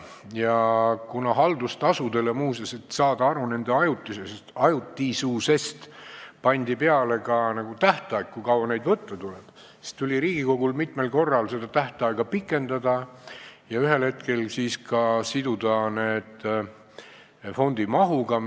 Muuseas, kuna haldustasudele pandi peale ka tähtaeg, et saada aru nende ajutisusest, kui kaua neid võtta tuleb, siis tuli Riigikogul mitmel korral seda pikendada ja ühel hetkel siduda need fondi mahuga.